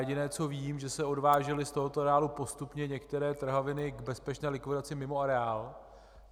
Jediné, co vím, že se odvážely z tohoto areálu postupně některé trhaviny k bezpečné likvidaci mimo areál.